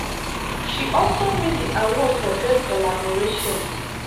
she also win di award for best collaboration.